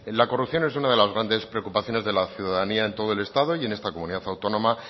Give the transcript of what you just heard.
la corrupción es una de las grandes preocupaciones de la ciudadanía en todo el estado y en esta comunidad autónoma